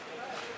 Yuxarıya?